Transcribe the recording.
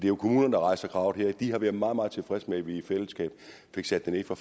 er kommunerne der rejser kravet her de har været meget meget tilfredse med at vi i fællesskab fik sat det ned fra